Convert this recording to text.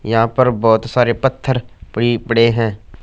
यहां पर बहोत सारे पत्थर फ्री पड़े हैं।